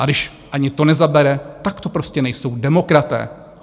A když ani to nezabere, tak to prostě nejsou demokraté.